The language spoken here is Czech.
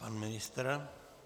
Pan ministr?